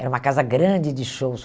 Era uma casa grande de shows.